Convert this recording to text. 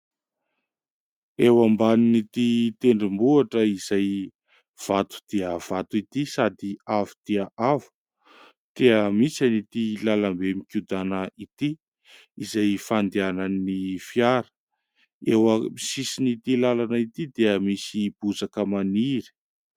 Eo ambanin'ity tendrombohitra izay vato dia vato ity sady avo dia avo dia misy an'ity lalam-be mikodana ity izay fandehanan'ny fiara. Eo amin'ny sisin'ity lalana ity dia misy bozaka maniry